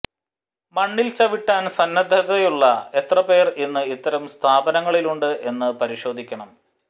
മണ്ണിൽ ചവിട്ടാൻ സന്നദ്ധതയുള്ള എത്ര പേർ ഇന്ന് ഇത്തരം സ്ഥാപനങ്ങളിലുണ്ട് എന്ന് പരിശോധിക്കണം